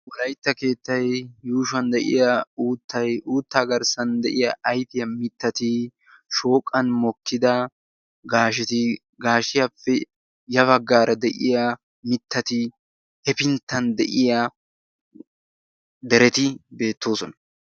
Wolaytta keettay yuushshuwan de'iyaa uuttay uutta garssan de'iyaa ayfiyaa mittati hepinttan de'iyaa dereti beettoosona.